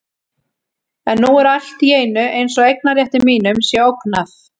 En nú er allt í einu eins og eignarrétti mínum sé ógnað.